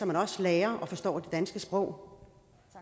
man også lærer og forstår det danske sprog